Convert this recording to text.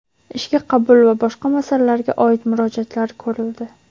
ishga qabul va boshqa masalalarga oid murojaatlari ko‘rildi.